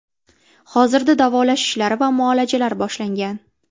Hozirda davolash ishlari va muolajalar boshlangan.